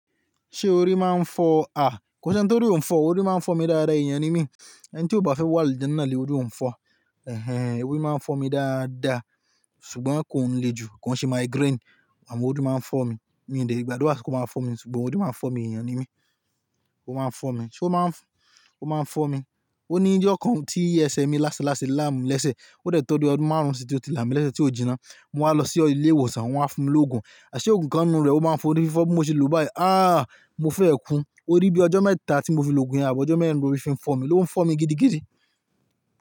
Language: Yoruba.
Ṣé orí máa ń fọ́? A! Kò ṣe n tó orí ò ń fọ́, orí máa ń fọ́ mi dáadáa, èèyàn ni mí. Ẹni tí ó bá fẹ́ wọ aljanáà lé orí ò ń fọ́. Ẹ̀hẹn, ẹwo orí máa ń fọ́ mi dáadáa ṣùgbọ́n kò n le ju, kò n ṣe migraine àmọ́ orí máa ń fọ́ mi. Mi dẹ lè gbàdúrà kó má fọ́ mi ṣùgbọ́n orí máa fọ́ mi, èèyàn ni mí. Ó máa ń fọ́ mi, ṣé ó máa ń fọ́? Ó máa ń fọ́ mi. Ó ní ijọ kan tí ẹṣẹ̀ mí láslas lá mú lẹ́sẹ̀. Ó dẹ̀ tó bí ọdún márùn-ún n sin tí ó ti lá mi lẹ́sẹ̀ tí ó jiná. Mo wá lọ sí ilé ìwòsàn, wọ́n wá fún mi lógun. Aṣẹ òogun kan nú rẹ̀ ó máa ń fọ́ orí fífọ́ bí mo ṣe lo báyìí. Aaa! Mo fẹ́ ẹ kú. Orí bí ọjọ́ mẹ́ta tí mo fi lò ogùn yẹn, àbí ọjọ́ mẹ́rin ló fi ń fọ́ mi, ló ń fọ́ mi gidigidi.